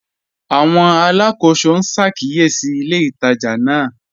Àwọn alákọsọ n ṣàkíyèsí ilẹ̀ ìtajà náà.